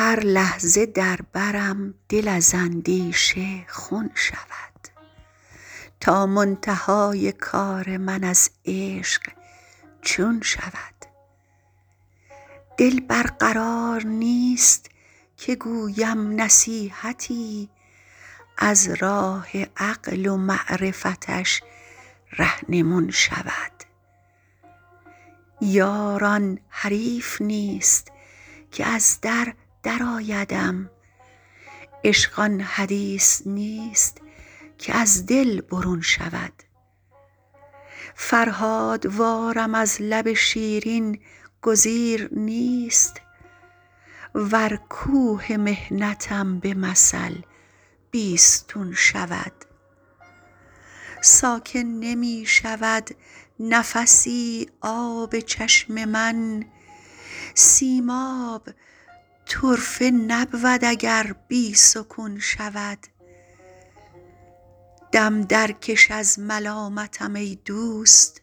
هر لحظه در برم دل از اندیشه خون شود تا منتهای کار من از عشق چون شود دل بر قرار نیست که گویم نصیحتی از راه عقل و معرفتش رهنمون شود یار آن حریف نیست که از در درآیدم عشق آن حدیث نیست که از دل برون شود فرهادوارم از لب شیرین گزیر نیست ور کوه محنتم به مثل بیستون شود ساکن نمی شود نفسی آب چشم من سیماب طرفه نبود اگر بی سکون شود دم درکش از ملامتم ای دوست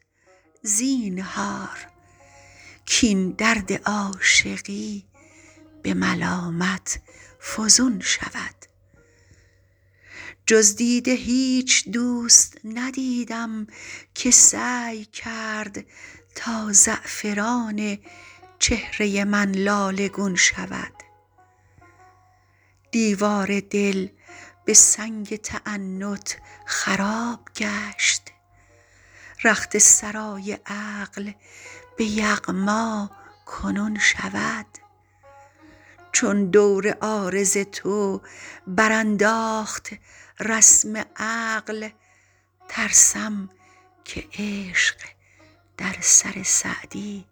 زینهار کاین درد عاشقی به ملامت فزون شود جز دیده هیچ دوست ندیدم که سعی کرد تا زعفران چهره من لاله گون شود دیوار دل به سنگ تعنت خراب گشت رخت سرای عقل به یغما کنون شود چون دور عارض تو برانداخت رسم عقل ترسم که عشق در سر سعدی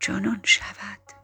جنون شود